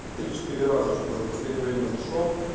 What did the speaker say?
три-четыре раза что-то за последнее время зашёл